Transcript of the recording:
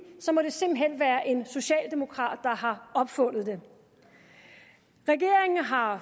så må det simpelt hen være en socialdemokrat der har opfundet det regeringen har